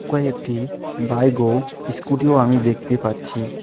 একটি বাইগ ও স্কুটিও আমি দেখতে পাচ্ছি।